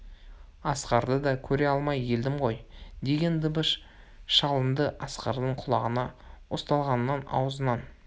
асқарды да көре алмай елдім ғой деген дыбыс шалынды асқардың құлағына ұсталғанның аузынан